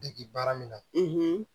Degi baara min na